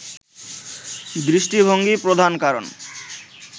দৃষ্টিভঙ্গিই প্রধান কারণ